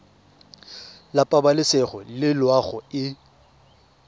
la pabalesego le loago e